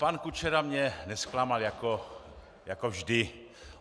Pan Kučera mě nezklamal, jako vždy.